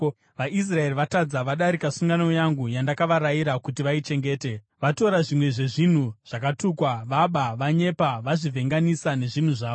VaIsraeri vatadza; vadarika sungano yangu, yandakavarayira kuti vaichengete. Vatora zvimwe zvezvinhu zvakatukwa; vaba, vanyepa, vazvivhenganisa nezvinhu zvavo.